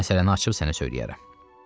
Onda məsələni açıb sənə söyləyərəm.